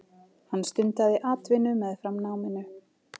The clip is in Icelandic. Hann stundaði atvinnu meðfram náminu.